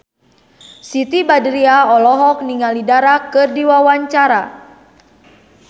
Siti Badriah olohok ningali Dara keur diwawancara